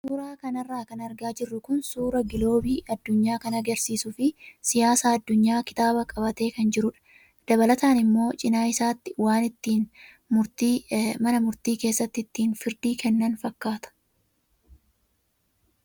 Suuraa kanarra kan argaa jirru kun suuraa giloobii addunyaa kan agarsiisuu fi siyaasa addunyaa kitaaba qabatee kan jirudha. Dabalataan immoo cinaa isaatti waan ittiin mana murtii keessatti ittiin firdii kennan fakkaata.